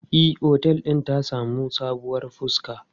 E, otel din ta sami sabuwar fuska.